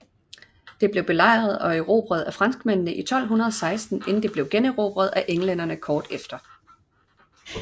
Det blev belejret og erobret af franskmændene i 1216 inden det blev generobret af englænderne kort efter